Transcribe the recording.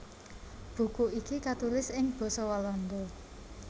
Buku iki katulis ing basa Walanda